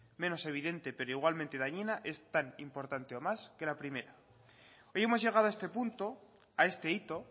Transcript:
menos evidente pero igualmente dañina es tan importante o más que la primera hoy hemos llegado a este punto a este hito